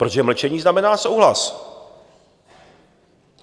Protože mlčení znamená souhlas.